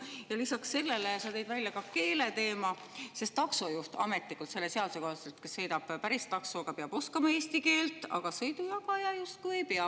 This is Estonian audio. Ja lisaks sellele sa tõid välja keeleteema, sest selle seaduse kohaselt taksojuht, kes sõidab päris taksoga, peab oskama eesti keelt, aga sõidujagaja justkui ei pea.